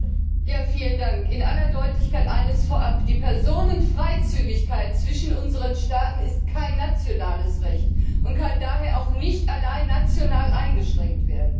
Herr Präsident! In aller Deutlichkeit eines vorab Die Personenfreizügigkeit in der Union ist kein nationales Recht und kann daher auch nicht allein national eingeschränkt werden.